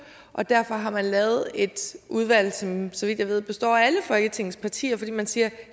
og derfor har man lavet et udvalg som så vidt jeg ved består af alle folketingets partier man siger